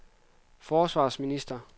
forsvarsminister